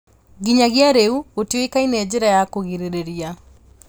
Nginyagia rĩu, gũtiũĩkaine njĩra ya kũgirĩrĩria